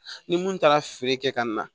Ni mun taara feere kɛ ka na